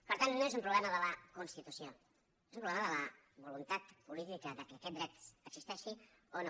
per tant no és un problema de la constitució és un problema de la voluntat política que aquest dret existeixi o no